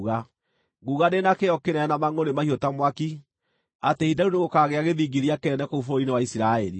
Nguuga ndĩ na kĩyo kĩnene na mangʼũrĩ mahiũ ta mwaki atĩ ihinda rĩu nĩgũkagĩa gĩthingithia kĩnene kũu bũrũri-inĩ wa Isiraeli.